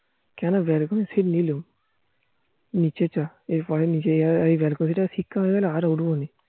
কেন balcony seat নিলো নিচে চ এরপরে নিচে যাবো এই ব্যাল্কুনিটাই শিক্ষা হয় গেল আর ওঠবোনা